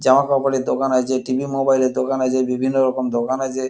জামাকাপড়ের দোকান আছে টি.ভি. মোবাইল এর দোকান আছে বিভিন্ন রকম দোকান আছে।